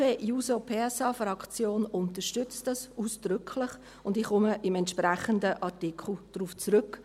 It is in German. Die SP-JUSO-PSA-Fraktion unterstützt dies ausdrücklich, und ich komme beim entsprechenden Artikel darauf zurück.